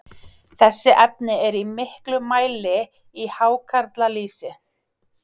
Þessi efni eru í miklum mæli í hákarlalýsi.